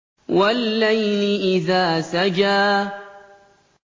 وَاللَّيْلِ إِذَا سَجَىٰ